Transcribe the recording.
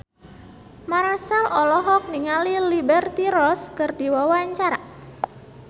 Marchell olohok ningali Liberty Ross keur diwawancara